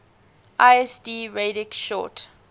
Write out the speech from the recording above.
lsd radix sort